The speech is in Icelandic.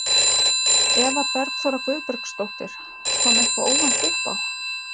Eva Bergþóra Guðbergsdóttir: Kom eitthvað óvænt uppá?